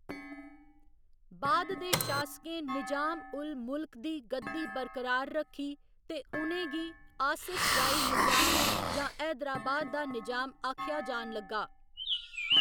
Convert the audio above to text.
बाद दे शासकें निजाम उल मुलख दी गद्दी बरकरार रक्खी ते उ'नें गी आसिफ जाही निजाम जां हैदराबाद दा निजाम आखेआ जान लग्गा।